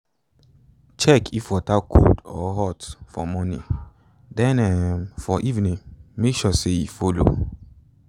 check if water cold or hot for morning then um for evening make sure say e follow